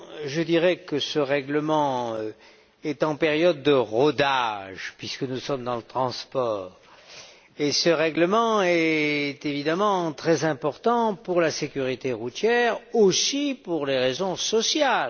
Je dirais que ce règlement est en période de rodage puisque nous parlons de transport et qu'il est évidemment très important pour la sécurité routière aussi pour des raisons sociales.